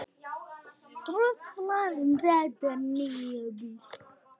Truflar þetta nábýli?